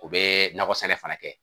U bɛ nakɔ sɛnɛ fana kɛ